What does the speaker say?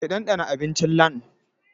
Ki ɗanɗana abincin LandN!